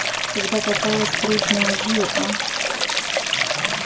когда попалась трудная жил а